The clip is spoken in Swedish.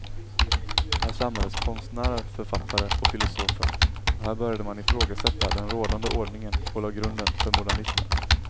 Här samlades konstnärer, författare och filosofer och här började man ifrågasätta den rådande ordningen och lade grunden för modernismen.